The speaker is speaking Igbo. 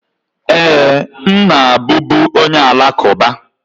Ee, m na-abụbu onye Alakụba.